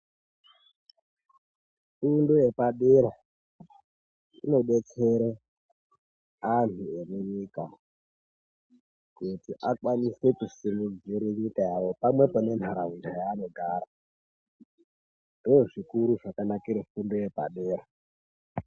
Fundo yepadera inodetsera antu emunyika kuti akwanise kusimudzira nyika yavo pamwepo nentaraunda yaanogara. Ndozvakanakira fundo yepadera.